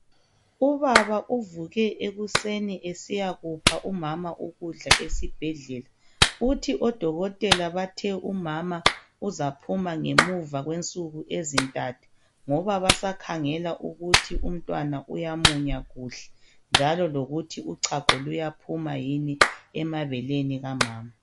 Ubaba uvuke ekuseni esiyakupha umama ukudla esibhedlela uthi odokotela bathe umama uzaphuma ngemuva kwensuku ezintathu ngoba basakhangela ukuthi umntwana uyamunya kuhle njalo lokuthi uchago luyaphuma emabeleni kamama